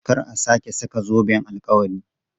Kar a sake saka zoben alkawari!